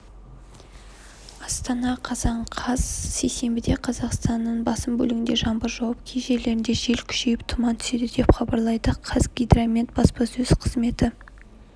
астана қазан қаз сейсенбіде қазақстанның басым бөлігінде жаңбыр жауып кей жерлерінде жел күшейіп тұман түседі деп хабарлайды қазгидромет баспасөз қызметі